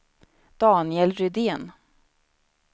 Daniel Rydén